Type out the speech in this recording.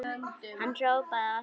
Hann hrópaði á eftir okkur.